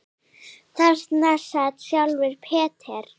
Þarna sat sjálfur Peter